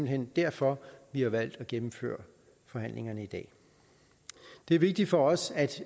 hen derfor vi har valgt at gennemføre forhandlingerne i dag det er vigtigt for os